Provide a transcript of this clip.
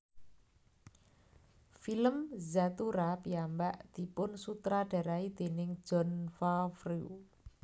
Film Zathura piyambak dipunsutradarai déning Jon Favreau